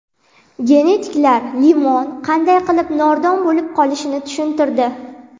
Genetiklar limon qanday qilib nordon bo‘lib qolishini tushuntirdi.